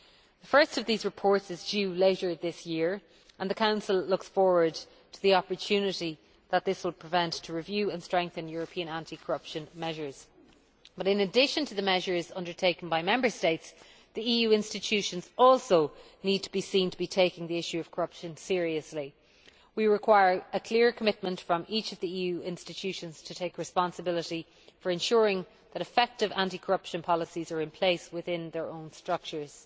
The first of these reports is due later this year and the Council looks forward to the opportunity that this will present to review and strengthen European anti corruption measures. But, in addition to the measures undertaken by Member States, the EU institutions also need to be seen to be taking the issue of corruption seriously. We require a clear commitment from each of the EU institutions to take responsibility for ensuring that effective anti corruption policies are in place within their own structures.